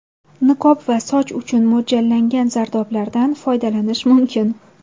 Niqob va soch uchun mo‘ljallangan zardoblardan foydalanish mumkin.